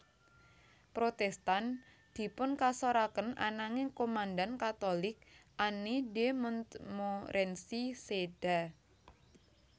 Protestan dipunkasoraken ananging komandan Katolik Anne de Montmorency séda